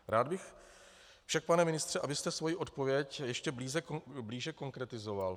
Rád bych však, pane ministře, abyste svoji odpověď ještě blíže konkretizoval.